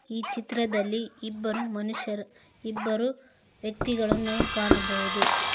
ಈ ಚಿತ್ರದಲ್ಲಿ ಇಬ್ಬರು ಮನುಷ್ಯರು ಇಬ್ಬರು ವ್ಯಕ್ತಿಗಳನ್ನು ಕಾಣಬಹುದು.